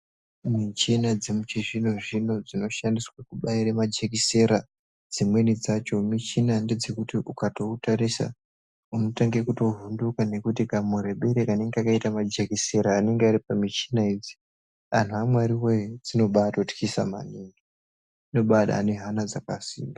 Michina dzechizvino zvino dzinoshandiswa kubaira majekiseni dzimweni dzakona michina dzekuti ukautarisa unotanga kuvhunduka nekuti marebere anenge akaita majekiseni anenge Ari pamuchina idzi anhu amwari woye dzinobatotyiss maningi dzinodai ane Hana dzakasimba.